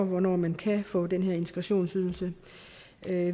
hvornår man kan få den her integrationsydelse